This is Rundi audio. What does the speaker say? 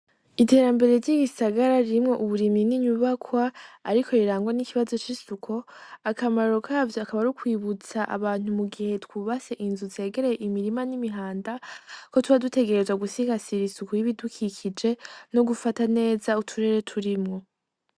Iterambere ry'igisagara ririmwo uburimi n'inyubakwa, ariko rirangwa n'ikibazo c'isuko akamarro kavyo akaba ari ukwibutsa abantu mu gihe twubase inzu tsegereye imirima n'imihanda ko tuba dutegerezwa gusigasira isuku y'ibidukikije no gufata neza uturere turimwo.